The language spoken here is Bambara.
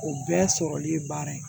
O bɛɛ sɔrɔli ye baara ye